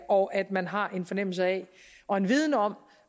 og at man har en fornemmelse af og en viden om